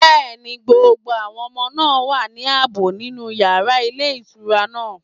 Yes, all the children are safe in the hotel room.